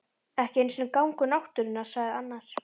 Ekki einu sinni gangur náttúrunnar sagði annar.